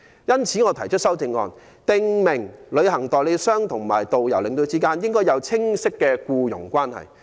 因此我提出修正案，訂明旅行代理商與導遊、領隊之間，應訂立清晰的僱傭關係。